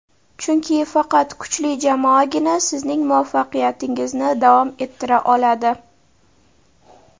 chunki faqat kuchli jamoagina sizning muvaffaqiyatingizni davom ettira oladi.